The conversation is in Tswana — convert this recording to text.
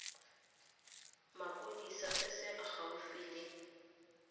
mapodisi se se gaufi le